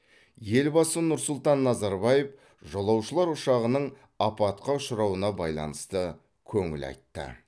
елбасы нұр сұлтан назарбаев жолаушылар ұшағының апатқа ұшырауына байланысты көңіл айтты